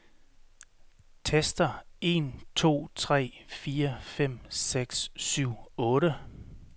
Tester en to tre fire fem seks syv otte.